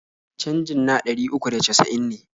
Canji na ɗari uku da casa'in ne.